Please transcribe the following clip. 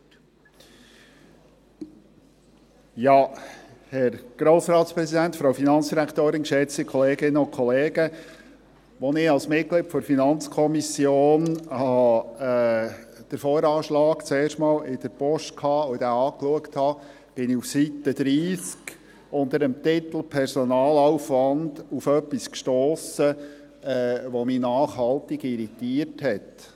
Als ich als Mitglied der FiKo den VA zum ersten Mal in der Post fand und ihn anschaute, stiess ich auf Seite 30 unter dem Titel «Personalaufwand» auf etwas, das mich nachhaltig irritiert hat.